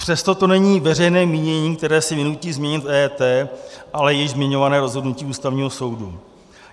Přesto to není veřejné mínění, které si vynutí změnit EET, ale již zmiňované rozhodnutí Ústavního soudu.